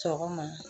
Sɔgɔma